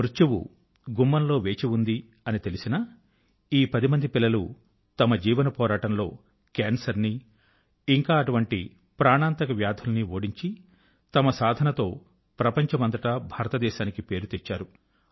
మృత్యువు గుమ్మంలో వేచి ఉంది అని తెలిసినా ఈ పది మంది పిల్లలు తమ జీవన పోరాటంలో కేన్సర్ ని ఇంకా అటువంటి ఘాతుకమైన వ్యాధులని ఓడించి తమ సాధనతో ప్రపంచమంతటా భారతదేశానికి పేరు తెచ్చారు